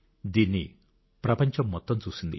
దీన్ని ప్రపంచం మొత్తం చూసింది